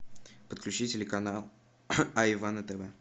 подключи телеканал айва на тв